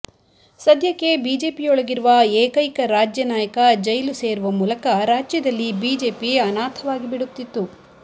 ಸದ್ಯಕ್ಕೆ ಬಿಜೆಪಿಯೊಳಗಿರುವ ಏಕೈಕ ರಾಜ್ಯನಾಯಕ ಜೈಲು ಸೇರುವ ಮೂಲಕ ರಾಜ್ಯದಲ್ಲಿ ಬಿಜೆಪಿ ಅನಾಥವಾಗಿ ಬಿಡುತ್ತಿತ್ತು